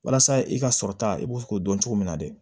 Walasa i ka sɔrɔ ta i b'o k'o dɔn cogo min na de